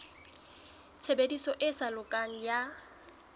tshebediso e sa lokang ya